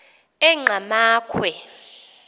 engqamakhwe